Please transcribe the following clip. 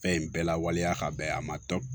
Fɛn in bɛɛ la waleya ka bɛɛ a ma tɔ